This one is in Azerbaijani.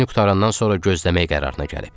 İşini qurtarandan sonra gözləmək qərarına gəlib.